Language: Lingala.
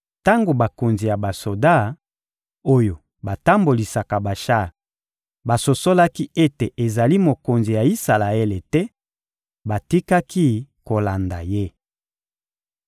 Tango bakonzi ya basoda, oyo batambolisaka bashar basosolaki ete ezali mokonzi ya Isalaele te, batikaki kolanda ye.